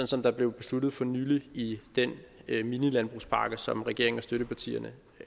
som det blev besluttet for nylig i den minilandbrugspakke som regeringen og støttepartierne